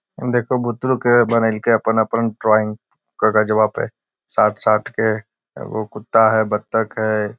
देखोह बुतरु के बनेएलके अपन-अपन ड्राइंग कगजवा पे साट-साट के एगो कुत्ता हेय बत्तख हेय।